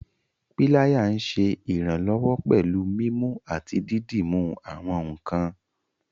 Pilaya nṣẹ iranlọwọ pẹ̀lú mímú àti dídúmú àwọn nkàn.